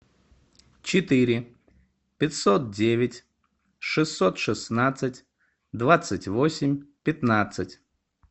четыре пятьсот девять шестьсот шестнадцать двадцать восемь пятнадцать